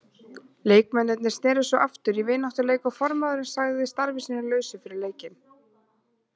Leikmennirnir sneru svo aftur í vináttuleik og formaðurinn sagði starfi sínu lausu fyrir leikinn.